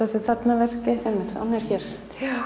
þessu þarna verki einmitt hann er hér